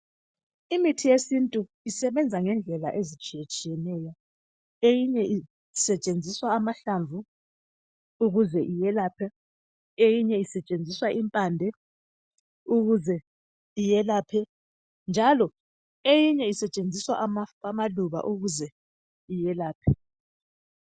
Imithi yesintu isebenza ngendlela ezitshiyetshiyeneyo eyinye isetshenziswa amahlamvu ukuze iyelaphe, eyinye isetshenziswa impande ukuze iyelaphe njalo eyinye isetshenziswa amaluba ukuze iyelaphe.